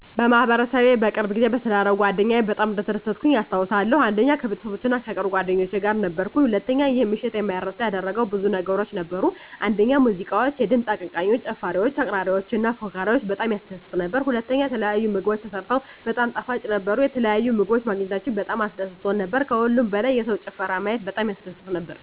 1. በማህበረሰቤ በቅርብ ጊዜ በተዳረው ጓደኛየ በጣም እንደተደሰትኩኝ አስታውሳለሁ። 1. ከቤተሰቦቼ እና ከቅርብ ጓደኞቼ ጋር ነበርኩኝ። 1. ይህን ምሽት የማይረሳ ያደረገው ብዙ ነገሮች ነበሩ፤ አንደኛ ሙዚቃዎች፣ የድምፅ አቀንቃኞች፣ ጨፋሪወች፣ አቅራሪዎች እና ፎካሪወች በጣም ያስደስት ነበር። *ሁለተኛ፣ የተለያዩ ምግቦች ተሰርተው በጣም ጣፋጭ ነበሩ፣ የተለያዩ ምግቦች ማግኘታችን በጣም አስደስቶን ነበር። ከሁሉም በላይ የሰውን ጭፈራ ማየት በጣም ያስደስት ነበር።